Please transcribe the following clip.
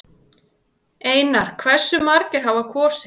Einar: Hversu margir hafa kosið?